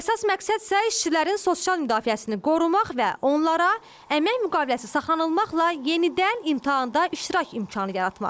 Əsas məqsəd isə işçilərin sosial müdafiəsini qorumaq və onlara əmək müqaviləsi saxlanılmaqla yenidən imtahanda iştirak imkanı yaratmaqdır.